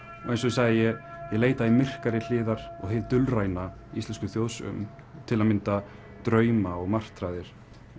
eins og ég sagði ég leita í myrkari hliðar og hið dulræna í íslenskum þjóðsögum til að mynda drauma og martraðir